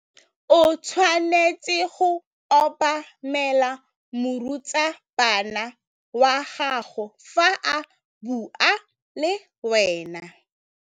O tshwanetse go obamela morutabana wa gago fa a bua le wena.